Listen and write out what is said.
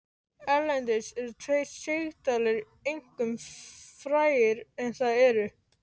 Erlendis eru tveir sigdalir einkum frægir en það eru